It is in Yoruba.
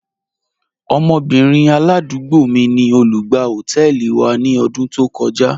Ọmọbìnrin aládúgbò mí ni olùgbà họtẹẹlì wa ni ọdún tó kọja..